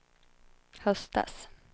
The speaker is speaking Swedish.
höstas